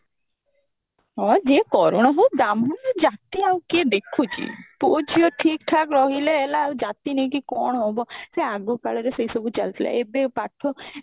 ହଁ ଯିଏ କରଣ ହଉ ବ୍ରାହ୍ମଣ ହଉ ଜାତି ଆଉ କିଏ ଦେଖୁଛି ପୁଅ ଝିଅ ଠିକ ଠାକ ରହିଲେ ହେଲା ଆଉ ଜାତି ନେଇକି କଣ ହବ ସେ ଆଗ କାଳରେ ସେଇ ସବୁ ଚାଲିଥିଲା ଏବେ ପାଠ